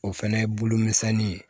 O fɛnɛ ye bolo misɛnnin ye